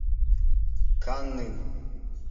каннын